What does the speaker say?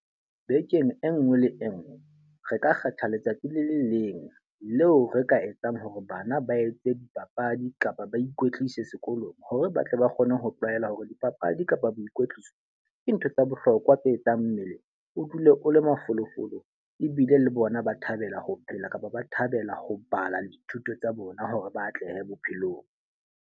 Bekeng e nngwe le e nngwe, re ka kgetha letsatsi le le leng leo re ka etsang hore bana ba etse dipapadi kapa ba ikwetlise sekolong. Hore ba tle ba kgone ho tlwaela hore dipapadi ka kapa boikwetliso ke ntho tsa bohlokwa tse etsang mmele o dule o le mafolofolo. Ebile le bona ba thabela ho phela kapa ba thabela ho bala dithuto tsa bona hore ba atlehe bophelong.